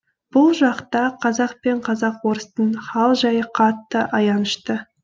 бұл жақта қазақ пен казак орыстың хал жайы қатты аянышты